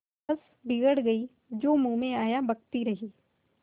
बस बिगड़ गयीं जो मुँह में आया बकती रहीं